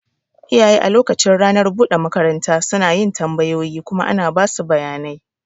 Iyaye a lokacin ranar buɗe makaranta suna yin tambayoyi kuma ana basu bayanai.